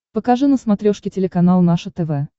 покажи на смотрешке телеканал наше тв